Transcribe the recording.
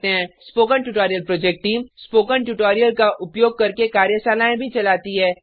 spoken tutorial project team spoken tutorial का उपयोग करके कार्यशालाएँ भी चलाती है